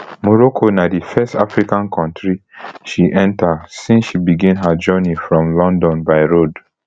morocco na di first african kontri she enta since she begin her journey from london by road